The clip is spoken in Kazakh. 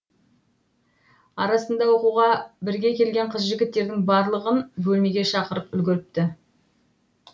арасында оқуға бірге келген қыз жігіттердің барлығын бөлмеге шақырып үлгеріпті